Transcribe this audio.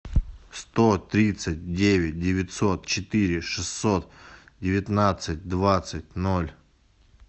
сто тридцать девять девятьсот четыре шестьсот девятнадцать двадцать ноль